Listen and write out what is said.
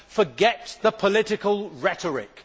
Forget the political rhetoric.